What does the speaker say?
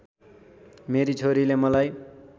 मेरी छोरीले मलाई